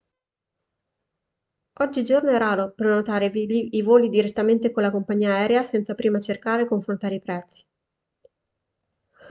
oggigiorno è raro prenotare i voli direttamente con la compagnia aerea senza prima cercare e confrontare i prezzi